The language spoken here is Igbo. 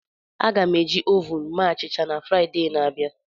Aga m eji ovun mee achịcha na Fraịde na-abịa.